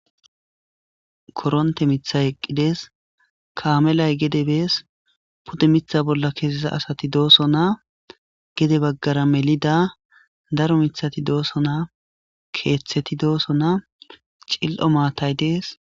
Koronte mitha eqqides kaamelay gede bees pudde mitha bolla keesesa asati dooso naa gede baggara melida daro mithati dooso naa keeththeti dooso naa cil'o maatay dees.